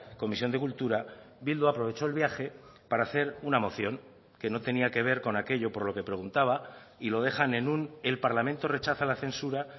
comisión de cultura bildu aprovechó el viaje para hacer una moción que no tenía que ver con aquello por lo que preguntaba y lo dejan en un el parlamento rechaza la censura